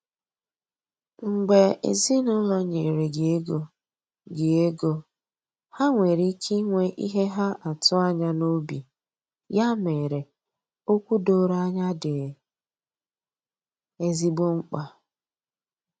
Mgbe ezinụlọ nyere gị ego, gị ego, ha nwere ike inwe ihe ha atụ anya n’obi, ya mere, okwu doro anya dị ezigbo mkpa.